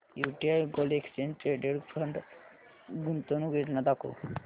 UTI gold exchange traded fund गुंतवणूक योजना दाखव